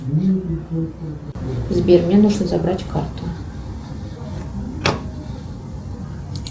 сбер мне нужно забрать карту